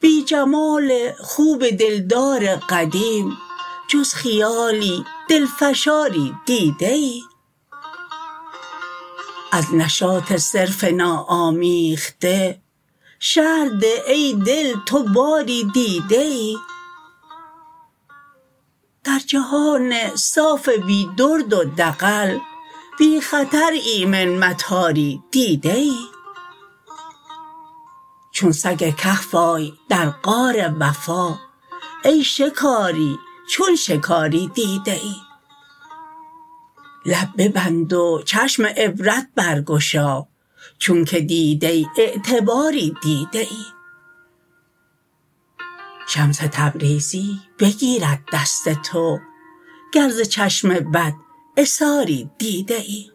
بی جمال خوب دلدار قدیم جز خیالی دل فشاری دیده ای از نشاط صرف ناآمیخته شرح ده ای دل تو باری دیده ای در جهان صاف بی درد و دغل بی خطر ایمن مطاری دیده ای چون سگ کهف آی در غار وفا ای شکاری چون شکاری دیده ای لب ببند و چشم عبرت برگشا چونک دیده اعتباری دیده ای شمس تبریزی بگیرد دست تو گر ز چشم بد عثاری دیده ای